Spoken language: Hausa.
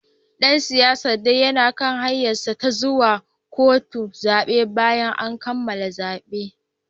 Dan siyasar dai yana kan hanyarsa ta zuwa kotun zabe bayan kammala zaben